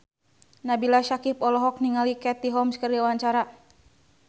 Nabila Syakieb olohok ningali Katie Holmes keur diwawancara